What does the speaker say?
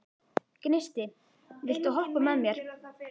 Gneisti, viltu hoppa með mér?